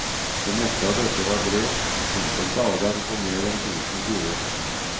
Det meste av dette var brev, enkelte av dem på mer enn tusen sider.